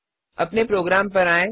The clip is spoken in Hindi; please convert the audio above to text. अपने प्रोग्राम पर आएँ